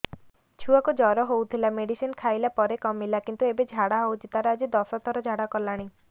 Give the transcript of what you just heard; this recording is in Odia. ଛୁଆ କୁ ଜର ହଉଥିଲା ମେଡିସିନ ଖାଇଲା ପରେ କମିଲା କିନ୍ତୁ ଏବେ ଝାଡା ହଉଚି ତାର ଆଜି ଦଶ ଥର ଝାଡା କଲାଣି